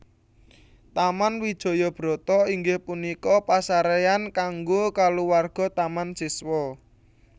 Taman Wijaya Brata inggih punika pasarean kangge kulawarga Taman Siswa